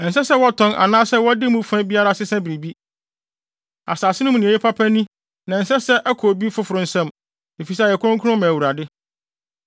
Ɛnsɛ sɛ wɔtɔn anaasɛ wɔde mu fa biara sesa biribi. Asase no mu nea ɛyɛ papa ni na ɛnsɛ sɛ ɛkɔ obi foforo nsam, efisɛ ɛyɛ kronkron ma Awurade.